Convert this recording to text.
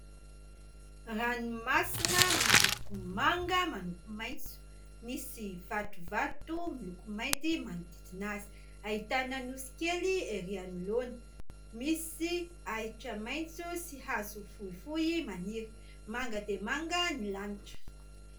Ranomasina miloko manga manompo maitso, misy vatovato miloko mainty manodidina azy, ahitana nosy kely ery anoloana, misy ahitra maitso sy hazo fohifohy maniry, manga dia manga ny lanitra.